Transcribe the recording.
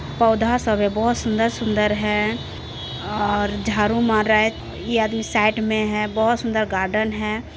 पौधा सब है बहुत सुंदर-सुंदर है और झाड़ू मार रहा है ये आदमी साइड मे है बहुत सुंदर गार्डन है।